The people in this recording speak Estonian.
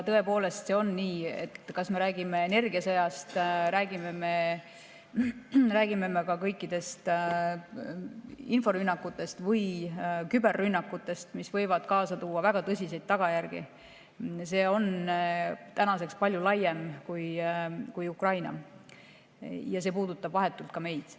Tõepoolest on see nii, et kas me räägime energiasõjast, räägime inforünnakutest või küberrünnakutest, mis võivad kaasa tuua väga tõsiseid tagajärgi, siis see kõik on tänaseks palju laiem kui Ukrainas toimuv ja see puudutab vahetult meid.